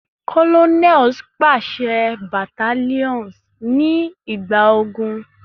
Colonels paṣẹ battalions nigba ogun